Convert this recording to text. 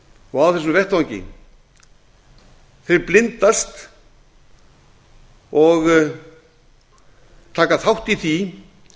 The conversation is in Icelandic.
og á þessum vettvangi blindast og taka þátt í því